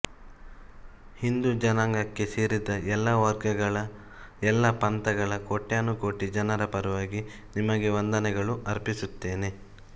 ಹಿಂದೂ ಜನಾಂಗಕ್ಕೆ ಸೇರಿದ ಎಲ್ಲ ವರ್ಗಗಳ ಎಲ್ಲ ಪಂಥಗಳ ಕೋಟ್ಯ ನುಕೋಟಿ ಜನರ ಪರವಾಗಿ ನಿಮಗೆ ವಂದನೆಗಳು ಅರ್ಪಿಸುತ್ತೇನೆ